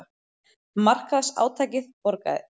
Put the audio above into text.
Markaðsátakið borgaði sig